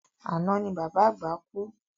Àná ni bàbá àgbà kú